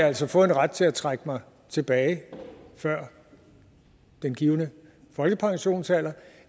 altså fået en ret til at trække mig tilbage før den givne folkepensionsalder